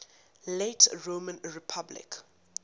late roman republic